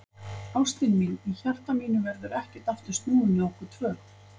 Ástin mín, í hjarta mínu verður ekkert aftur snúið með okkur tvö.